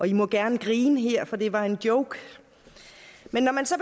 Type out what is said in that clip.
i må gerne grine her for det var en joke men når man så